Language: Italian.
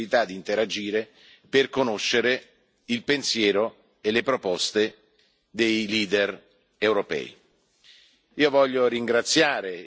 non con discorsi formali ma con la possibilità di interagire per conoscere il pensiero e le proposte dei leader europei.